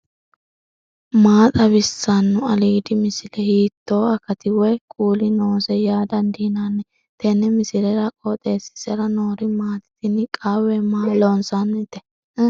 maa xawissanno aliidi misile ? hiitto akati woy kuuli noose yaa dandiinanni tenne misilera? qooxeessisera noori maati ? tini qawwe maa loonsannite